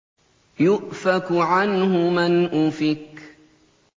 يُؤْفَكُ عَنْهُ مَنْ أُفِكَ